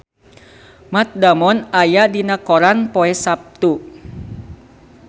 Matt Damon aya dina koran poe Saptu